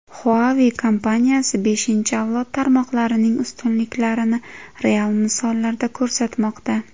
Huawei kompaniyasi beshinchi avlod tarmoqlarining ustunliklarini real misollarda ko‘rsatmoqda.